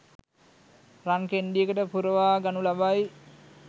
රන් කෙණ්ඩියකට පුරවා ගනු ලබයි.